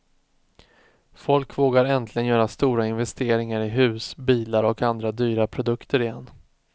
Folk vågar äntligen göra stora investeringar i hus, bilar och andra dyra produkter igen.